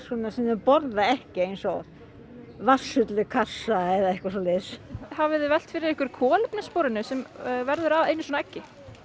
sem þau borða ekki eins og vatnssull í kassa eða eitthvað en hafiði velt fyrir ykkur kolefnissporinu sem verður að einu svona eggi